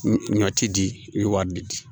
Ɲɔ ti di i ye wari di